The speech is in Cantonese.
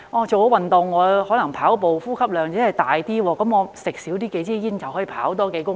做運動後，可能跑步時呼吸量增加，少吸數支煙便可以多跑數公里。